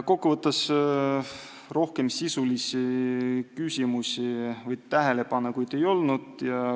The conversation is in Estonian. Kokkuvõtteks, rohkem sisulisi küsimusi või tähelepanekuid ei olnud.